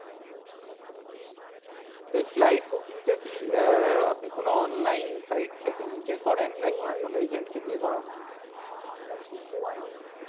End to end মোটামুটি flight এই গেছিলাম। তো এই flight booking টা কি আহ আপনি কোনো online site থেকে হ্যাঁ নিজে করেন? গোয়ার নাকি কোনো agent কে দিয়ে করান? না, online এই গো আই বিবো তে